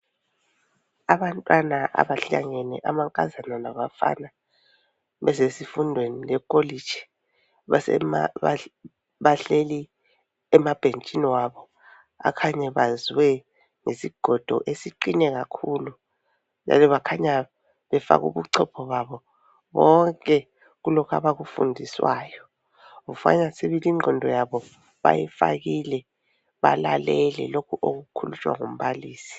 Abantwana abahlangene amankazana labafana bezesifundweni sekholitshi bahleli emabhentshini abo akhanya ebazwe ngesigodo esiqine kakhulu njalo bakhanya befake ubuchopho babo bonke kulokhona akufundiswayo. Kukhanya sibili ingqondo yabo bayifakile balalele lokho okukhulunywa ngumbalisi